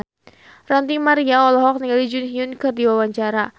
Ranty Maria olohok ningali Jun Ji Hyun keur diwawancara